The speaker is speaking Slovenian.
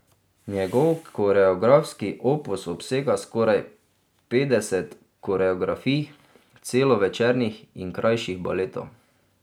Njegov koreografski opus obsega skoraj petdeset koreografij celovečernih in krajših baletov.